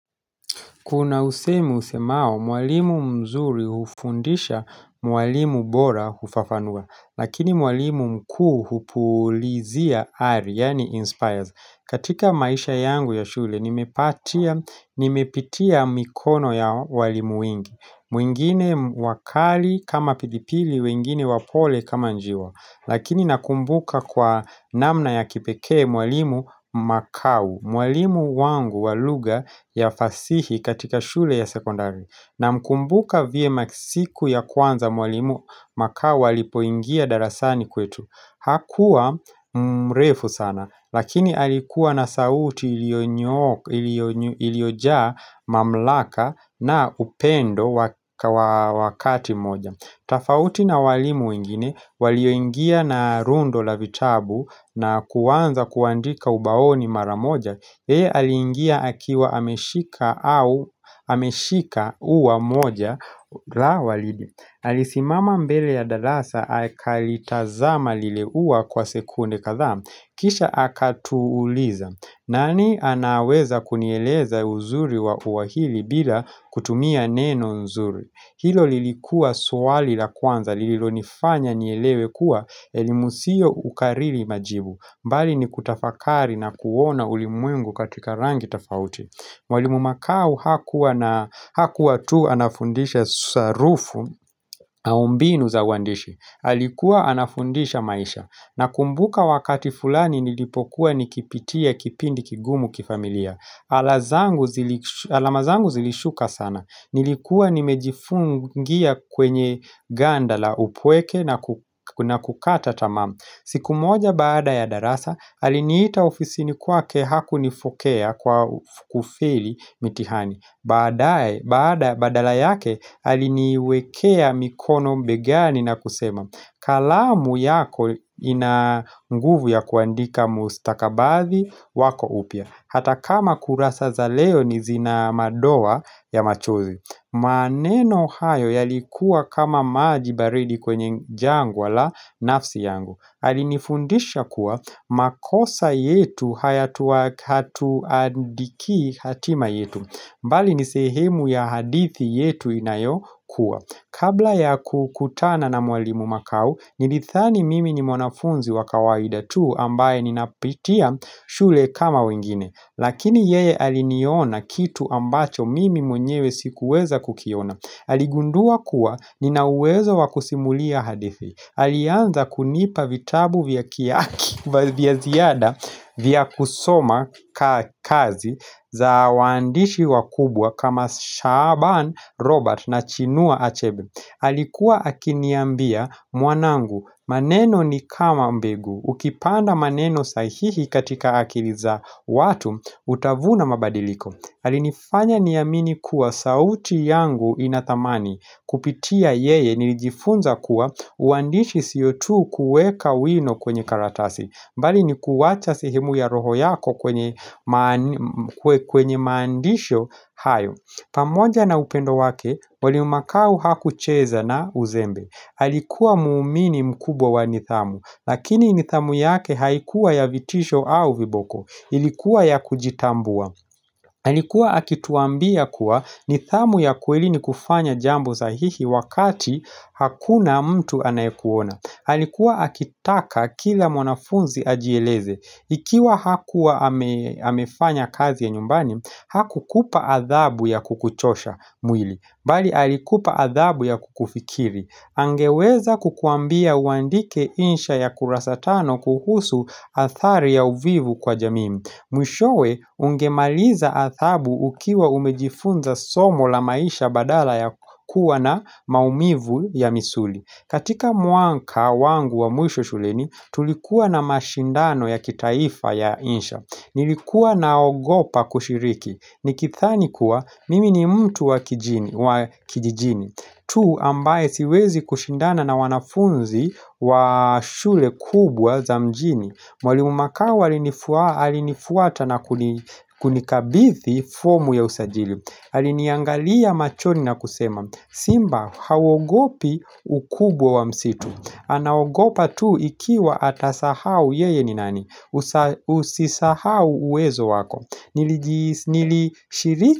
Kuna usemi usemao, mwalimu mzuri hufundisha mwalimu bora hufafanua, lakini mwalimu mkuu hupulizia ari, yaani inspires. Katika maisha yangu ya shule, nimepatia, nimepitia mikono ya walimu wengi. Mwingine wakali kama pilipili, wengine wapole kama njiwa. Lakini nakumbuka kwa namna ya kipekee mwalimu makau. Mwalimu wangu wa lugha ya fasihi katika shule ya sekondari. Namkumbuka vyema siku ya kwanza mwalimu makau alipoingia darasani kwetu Hakuwa mrefu sana Lakini alikuwa na sauti iliyojaa mamlaka na upendo wakati moja. Tofauti na walimu wengine, walioingia na rundo la vitabu na kuanza kuandika ubaoni mara moja, yeye aliingia akiwa ameshika uwa mmoja la waridi. Alisimama mbele ya darasa akalitazama lile ua kwa sekunde kadhaa, kisha akatuuliza. Nani anaweza kunieleza uzuri wa uwahili bila kutumia neno nzuri? Hilo lilikuwa swali la kwanza, lilonifanya nielewe kuwa elimu sio kukariri majibu mbali ni kutafakari na kuona ulimwengu katika rangi tofauti Mwalimu Makau hakuwa tu anafundisha sarufu au mbinu za uandishi. Alikuwa anafundisha maisha. Nakumbuka wakati fulani nilipokuwa nikipitia kipindi kigumu kifamilia alama zangu zilishuka sana Nilikuwa nimejifungia kwenye Ganda la upweke na kukata tamaa. Siku moja baada ya darasa, aliniita ofisini kwake hakunifokea kwa kufeli mitihani Baada, badala yake, aliniwekea mikono begani na kusema kalamu yako ina nguvu ya kuandika mustakabadhi wako upya Hata kama kurasa za leo ni zina madoa ya machozi maneno hayo yalikuwa kama maji baridi kwenye jangwa la nafsi yangu. Alinifundisha kuwa makosa yetu haya tuandiki hatima yetu. Mbali ni sehemu ya hadithi yetu inayokua. Kabla ya kukutana na mwalimu makau Nilidhani mimi ni mwanafunzi wa kawaida tu ambaye ninapitia shule kama wengine Lakini yeye aliniona kitu ambacho mimi mwenyewe sikuweza kukiona Aligundua kuwa Nina uwezo wa kusimulia hadithi Alianza kunipa vitabu vya kia ziada vya kusoma kazi za waandishi wakubwa kama shaban Robert na chinua achebe. Alikuwa akiniambia mwanangu maneno ni kama mbegu Ukipanda maneno sahihi katika akili za watu utavuna mabadiliko. Alinifanya niamini kuwa sauti yangu ina thamani. Kupitia yeye nilijifunza kuwa uandishi siyo tu kuweka wino kwenye karatasi mbali ni kuwacha sehemu ya roho yako kwenye maandisho hayo pamoja na upendo wake, wali makau hakucheza na uzembe. Halikuwa muumini mkubwa wa nithamu, lakini nithamu yake haikuwa ya vitisho au viboko. Ilikuwa ya kujitambua. Alikuwa anataka akituambia kuwa nithamu ya kuweli ni kufanya jambu sahihi wakati hakuna mtu anayekuona. Alikuwa akitaka kila mwanafunzi ajieleze. Ikiwa hakuwa amefanya kazi ya nyumbani hakukupa adhabu ya kukuchosha mwili Bali alikupa adhabu ya kukufikiri Angeweza kukuambia uandike insha ya kurasatano kuhusu athari ya uvivu kwa jamii. Mwishowe ungemaliza athabu ukiwa umejifunza somo la maisha badala ya kuwa na maumivu ya misuli katika muanka wangu wa muisho shuleni, tulikuwa na mashindano ya kitaifa ya insha Nilikuwa naogopa kushiriki Nikithani kuwa, mimi ni mtu wa kijijini tu ambaye siwezi kushindana na wanafunzi wa shule kubwa za mjini Mwalimu makawa alinifuata na kunikabithi fomu ya usajili. Aliniangalia machoni na kusema Simba hauogopi ukubwa wa msitu Anaogopa tu ikiwa atasahau yeye ni nani Usisahau uwezo wako Nilishiriki.